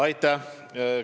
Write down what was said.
Aitäh!